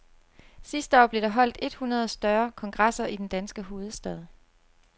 Sidste år blev der holdt et hundrede større kongresser i den danske hovedstad.